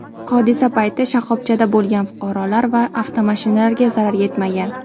Hodisa payti shoxobchada bo‘lgan fuqarolar va avtomashinalarga zarar yetmagan.